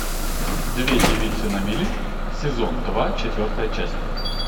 две девицы на мели сезон два четвертая часть